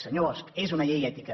senyor bosch és una llei ètica